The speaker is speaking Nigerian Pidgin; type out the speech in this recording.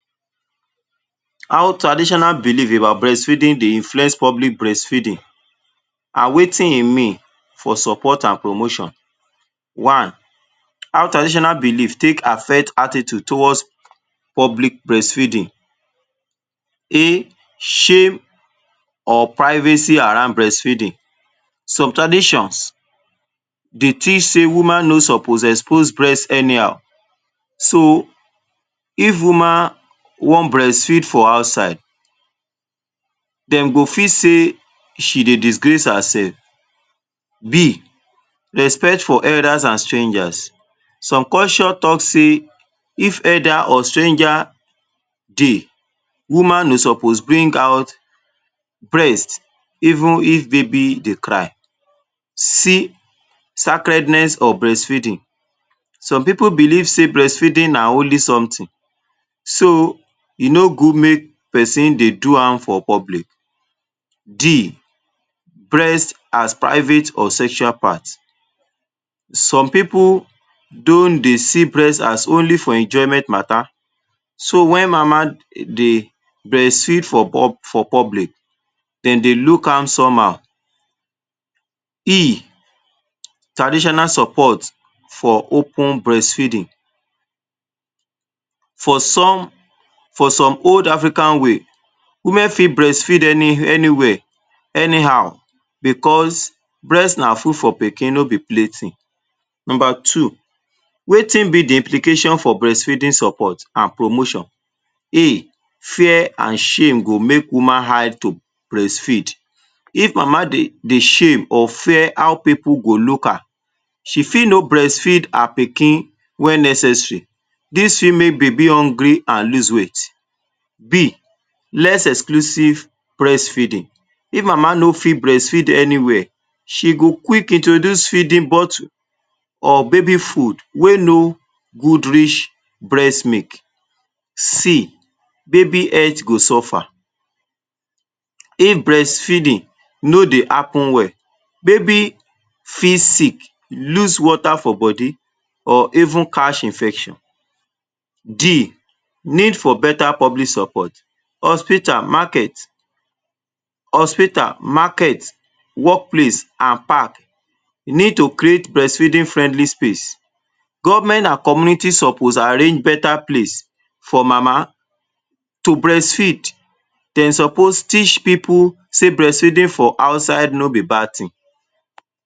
How traditional belief about breastfeeding dey influence public breastfeeding, an wetin e mean for support an promotion. One how traditional belief take affect attitude towards public breastfeeding: [A] Shame or privacy around breastfeeding: Some traditions dey teach sey woman no suppose expose breast anyhow. So, if woman wan breastfeed for outside, dem go feel sey she dey disgrace hersef. [B] Respect for elders a strangers: Some culture talk sey if elder or stranger dey, woman no suppose bring out breast even if baby dey cry. [C] Sacredness of breastfeeding: Some pipu believe sey breastfeeding na holy something so e no good make peson dey do am for public. [D] Breast as private or sexual part: Some pipu don dey see breast as only for enjoyment matter. So, wen mama dey breastfeed for public, dem dey look am somehow. [E] Traditional support for open breastfeeding: For some for some old African way, women fit breastfeed any anywhere, anyhow becos breast na food for pikin, no be play tin. Nomba two, wetin be the implication for breastfeeding support a promotion? [A] Fear a shame go make woman hide to breastfeed: If mama dey dey shame or fear how pipu go look her, she fit no breastfeed her pikin wen necessary. Dis fit make baby hungry an lose weight. [B] Less exclusive breastfeeding: If mama no fit breastfeed anywhere, she go quick introduce feeding bottle or baby food wey no good reach breast milk. [C] Baby health go suffer: If breastfeeding no dey happen well, baby fit sick, lose water for body or even catch infection. [D] Need for beta public support: Hospital, market, hospital, market, workplace an park e need to create breastfeeding-friendly space. Government an community suppose arrange beta place for mama to breastfeed. Dem suppose teach pipu sey breastfeeding for outside no be bad tin.